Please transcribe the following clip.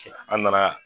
An nana